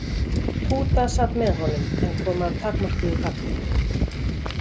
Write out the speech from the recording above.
Túta sat með honum en kom að takmörkuðu gagni.